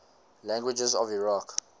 languages of iraq